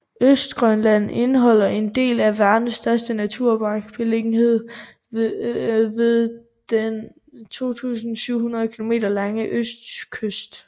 Østgrønland indeholder en del af verdens største naturpark beliggende ved den 2700 kilometer lange østkyst